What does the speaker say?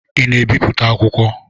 Ị na-ebipụta akwukwọ?